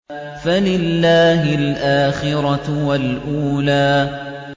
فَلِلَّهِ الْآخِرَةُ وَالْأُولَىٰ